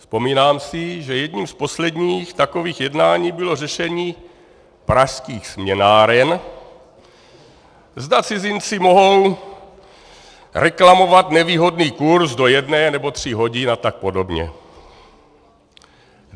Vzpomínám si, že jedním z posledních takových jednání bylo řešení pražských směnáren, zda cizinci mohou reklamovat nevýhodný kurz do jedné nebo tří hodin a tak podobně.